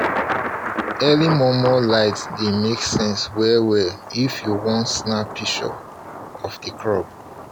um early um momo light dey make sense well well if you want snap picture of um the crop